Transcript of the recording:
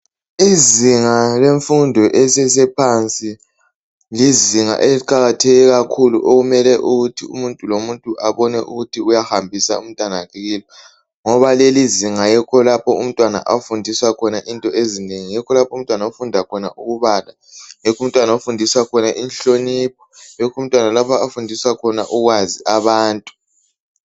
Izinga lemfundo elisesephansi lizinga eliqakatheke kakhulu okumele ukuthi umuntu lo mumtu uyahambisa umntanakhe yini ngoba leli izinga yikho lapho umntwana afundiswa khona ezinengi , ukubala, inhlonipho, ukwazi abantu.